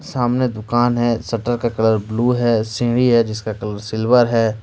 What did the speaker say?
सामने दुकान है शटर का कलर ब्लू है सीढ़ी है जिसका कलर सिल्वर है।